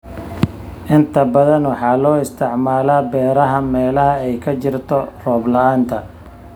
Inta badan waxaa loo isticmaalaa beeraha meelaha ay ka jirto roob la'aanta.